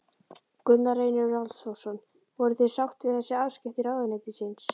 Gunnar Reynir Valþórsson: Voruð þið sátt við þessi afskipti ráðuneytisins?